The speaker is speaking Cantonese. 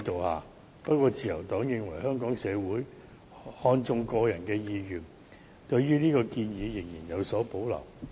然而，自由黨認為香港社會看重個人意願，對於這項建議仍然有所保留。